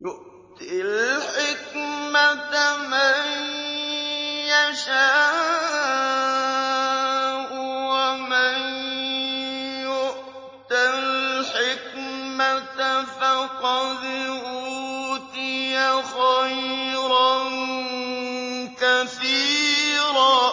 يُؤْتِي الْحِكْمَةَ مَن يَشَاءُ ۚ وَمَن يُؤْتَ الْحِكْمَةَ فَقَدْ أُوتِيَ خَيْرًا كَثِيرًا ۗ